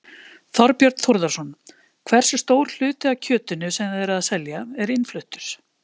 Þorbjörn Þórðarson: Hversu stór hluti af kjötinu sem þið eruð að selja er innfluttur?